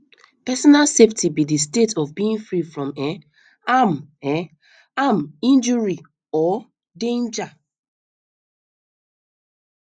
personal safety be di state of being free from um harm um harm injury or um danger um